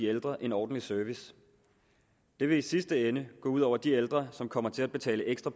ældre en ordentlig service det vil i sidste ende gå ud over de ældre som kommer til at betale ekstra